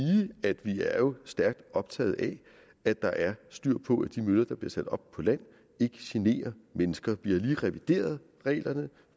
at vi er stærkt optaget af at der er styr på at de møller der bliver sat op på land ikke generer mennesker vi har lige revideret reglerne